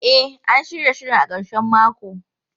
E, an shirya shirin a karshen mako.